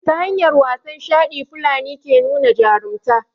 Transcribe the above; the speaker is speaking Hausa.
ta hanyar wasan shaɗi fulani ke nuna jarumta